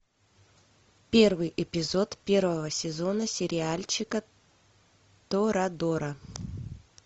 первый эпизод первого сезона сериальчика торадора